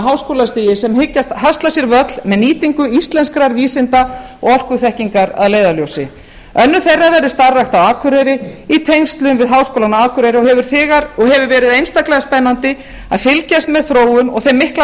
háskólastigi sem hyggjast hasla sér völl með nýtingu íslenskrar vísinda og orkuþekkingar að leiðarljósi önnur þeirra verður starfrækt á akureyri í tengslum við háskólann á akureyri og hefur verið einstaklega spennandi að fylgjast með þróun og þeim mikla